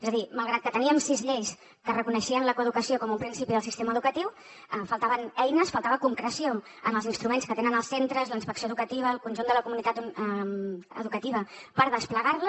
és a dir malgrat que teníem sis lleis que reconeixien la coeducació com un principi del sistema educatiu faltaven eines faltava concreció en els instruments que tenen els centres la inspecció educativa el conjunt de la comunitat educativa per desplegar la